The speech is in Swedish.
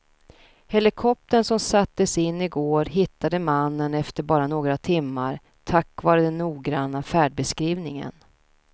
Helikoptern som sattes in i går hittade mannen efter bara några timmar tack vare den noggranna färdbeskrivningen.